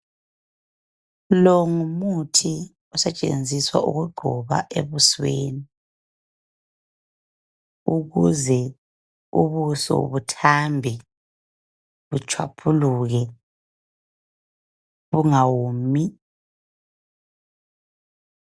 Lo ngumuthi osetshenziswa ukugcoba ebusweni, ukuze ubuso buthambe, butshwaphuluke, bungawomi.